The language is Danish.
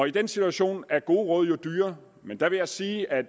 i den situation er gode råd jo dyre men der vil jeg sige at